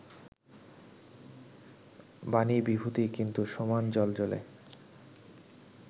বাণীবিভূতি কিন্তু সমান জ্বলজ্বলে